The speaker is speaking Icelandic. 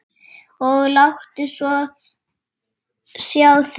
Og láttu svo sjá þig.